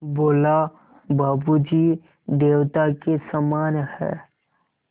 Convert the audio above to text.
बोला बाबू जी देवता के समान हैं